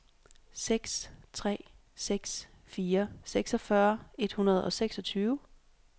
seks tre seks fire seksogfyrre et hundrede og seksogtyve